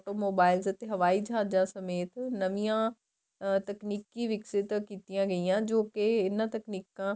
auto mobile ਅਤੇ ਜਵਾਈ ਜਹਾਜ਼ਾ ਸਮੇਤ ਨਵੀਆਂ ਤਕਨੀਕੀ ਵਿੱਕਸਿਤ ਕੀਤੀਆਂ ਗਈਆਂ ਜੋਕੇ ਇਹਨਾ ਤਕਨੀਕਾ